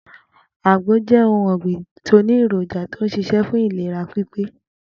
Agbo jé̩ ohun ò̩gbìn tó ní èròjà tó ń s̩is̩é̩ fún ìlera pípé